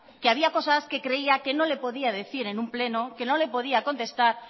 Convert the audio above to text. que había cosas que creía que no le podía decir en un pleno que no le podía contestar